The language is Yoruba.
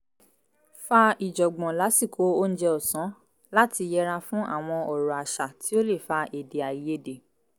fà ìjọ̀ngbọ̀n lásìkò oúnjẹ ọ̀sán láti yẹra fún àwọn ọ̀rọ̀ àṣà tí ó lè fa èdè àìyedè